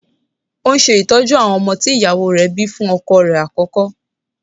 Ó ń ṣe ìtọ́jú àwọn ọmọ tí ìyàwó rẹ̀ bíi fún ọkọ rẹ̀ àkọ́kọ́.